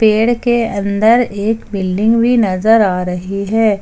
पेड़ के अंदर एक बिल्डिंग भी नजर आ रही है।